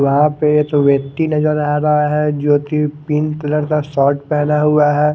वहां पे जो व्यक्ति नजर आ रहा है जोकि पिंक कलर का शर्ट पहना हुआ है।